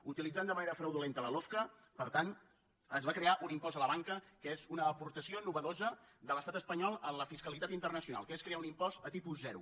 utilitzant de manera fraudulenta la lofca per tant es va crear un impost a la banca que és una aportació innovadora de l’estat espanyol en la fiscalitat internacional que és crear un impost a tipus zero